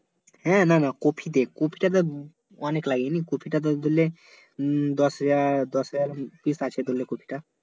হ্যাঁ না না কপিতে কপিটা যা অনেক লাগেনি কপিটা ধরলে হম দশ হাজার দশ হাজার pice আছে ধরলে কপিটা